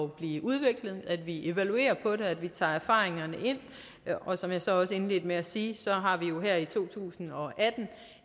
blive udviklet at vi evaluerer på det og at vi tager erfaringerne ind og som jeg så også indledte med at sige har vi jo her i to tusind og atten